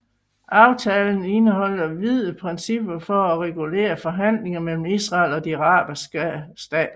Aftalen indeholdt vide principper for at regulere forhandlinger mellem Israel og de arabiske stater